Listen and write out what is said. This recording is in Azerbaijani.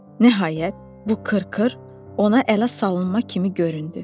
Nəhayət, bu qırqır ona ələ salınma kimi göründü.